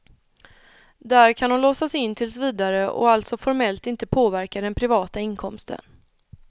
Där kan de låsas in tills vidare och alltså formellt inte påverka den privata inkomsten.